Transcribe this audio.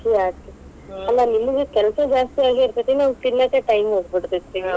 ಖುಷಿ ಆತ. ನಿಮಗ್ ಕೆಲಸಾ ಜಸ್ತಿ ಆಗಿ ಇರ್ತೇತಿ ನಮಗ್ ತಿನ್ನೋಕೆ time ಹೋಗ್ಬಿಡತೇತಿ.